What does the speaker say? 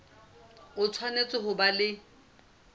o tshwanetse ho ba le